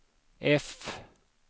F